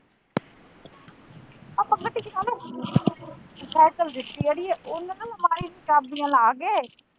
Cycle ਦਿੱਤੀ ਅੜੀਏ ਉਹਨੂੰ ਸਾਰੀ ਚਾਬੀਆਂ ਲਾ ਕੇ।